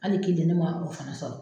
Hali kelen ne ma o fana sɔrɔ.